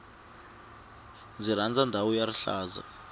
ndzi rhandza ndhawu ya rihlaza